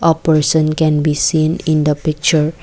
a person can be seen in the picture.